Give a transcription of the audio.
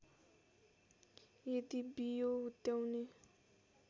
यदि बियो हुत्याउने